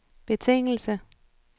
betingelse